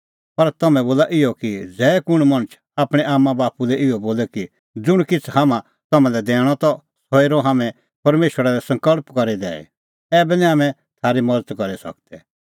पर तम्हैं बोला इहअ कि ज़ै कुंण मणछ आपणैं आम्मांबाप्पू लै इहअ बोले कि ज़ुंण किछ़ हाम्हां तम्हां लै दैणअ त सह हेरअ हाम्हैं परमेशरा लै सकल़्प करी दैई ऐबै निं हाम्हैं थारी मज़त करी सकदै